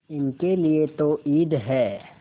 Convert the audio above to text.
इनके लिए तो ईद है